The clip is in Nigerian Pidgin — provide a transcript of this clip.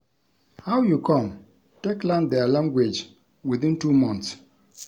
How you come take learn their language within two months?